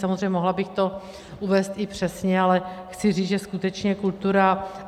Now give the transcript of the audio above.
Samozřejmě mohla bych to uvést i přesně, ale chci říct, že skutečně kultura...